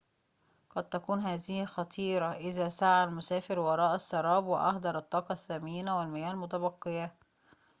قد تكون هذه خطيرة إذا سعى المسافر وراء السراب وأهدر الطاقة الثمينة والمياه المتبقية